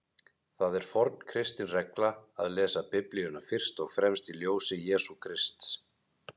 Það er forn kristin regla að lesa Biblíuna fyrst og fremst í ljósi Jesú Krists.